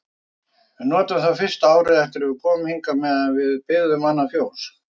Við notuðum það fyrsta árið eftir að við komum hingað meðan við byggðum annað fjós.